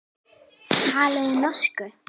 Talið þið norsku.